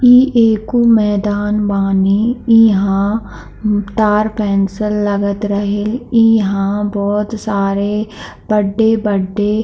ई एक मैदान बानी | यहाँ पार्क जैसन लागत रही | यहाँ बहुत सारे बडे-बडे--